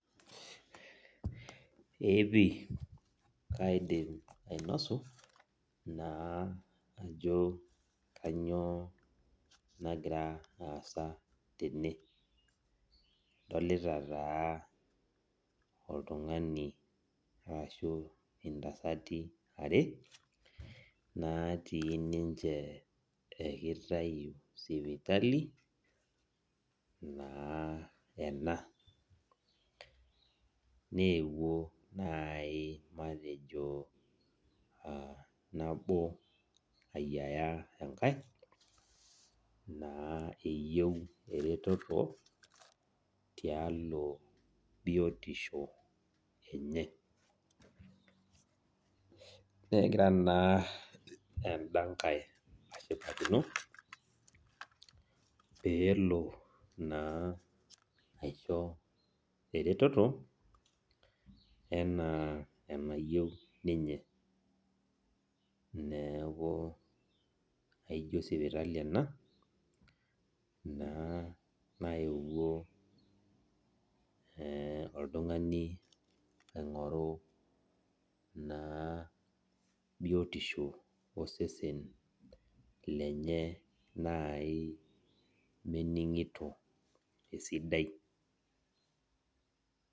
Eepii kaidim ainosu naa ajo kanyio nagira aasa tene adolita taa oltungani ashu ntasati are natii ninye kitayu sipitali ena newuo nai matejo nabo ayiaya enkae eyieu eretoto tialo biotisho enye negira na enda nkai ashipakino peli atum eretoto ena enayieu ninye neaku aijo sipitali ena naewuo oltungani aingoru biotisho osesen lenye nai meningito esidai.